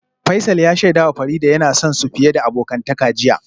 Faisal ya shaidawa Farida cewa yana son su fiye abokantaka jiya